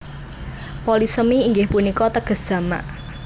Polisemi inggih punika teges jamak